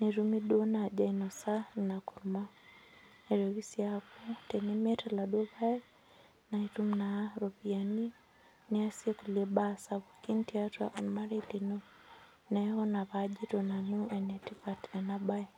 netumi duo naaji ainosa ina kurma neitoki sii aaku tenimiata iladuo payek naitum naa iropiani niasie kulie baa sapukin tiatua olmarei lino neeku ina paajito nanu enetipat ena baye.